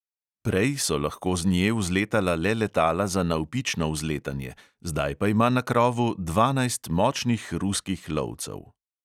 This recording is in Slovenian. Prej so lahko z nje vzletala le letala za navpično vzletanje, zdaj pa ima na krovu dvanajst močnih ruskih lovcev.